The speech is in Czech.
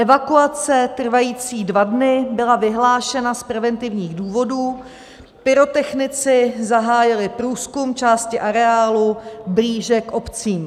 Evakuace trvající dva dny byla vyhlášena z preventivních důvodů, pyrotechnici zahájili průzkum části areálu blíže k obcím.